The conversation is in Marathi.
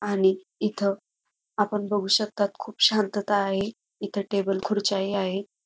आणि इथं आपण बघू शकतात खूप शांतता आहे इथ टेबल खुर्च्या ही आहे.